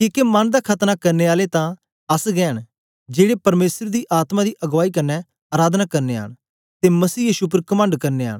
किके मन दा खतना करने आले तां अस गै ऐ न जेड़े परमेसर दी आत्मा दी अगबाई कन्ने अराधना करनयां न ते मसीह यीशु उप्पर कमंड करदे आ